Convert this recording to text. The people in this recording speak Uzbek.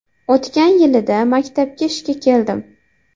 O‘tgan o‘quv yilida maktabga ishga keldim.